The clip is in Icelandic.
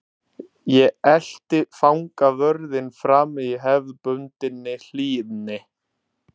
Ég elti fangavörðinn fram í hefðbundinni hlýðni.